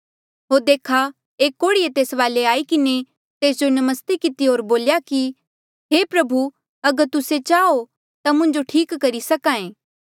होर देखा एक कोढ़ीये तेस वाले आई किन्हें तेस जो नमस्ते किती होर बोल्या कि हे प्रभु अगर तुस्से चाहो ता मुंजो ठीक करी सक्हा ऐें